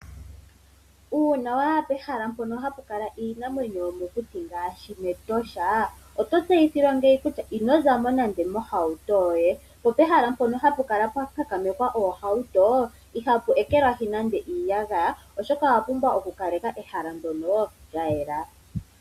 Uuna wa ya pehala mpono hapu kala iinamwenyo yomokuti ngaashi mEtosha oto tseyithilwa ngeyi kutya ino za mo nando mohauto yoye. Popehala mpono hapu kala pwa kankamekwa oohauto ihapu ekelwahi nando iiyagaya, oshoka owa pumbwa okukaleka ehala ndyono lya yela.